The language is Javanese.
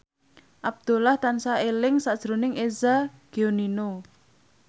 Abdullah tansah eling sakjroning Eza Gionino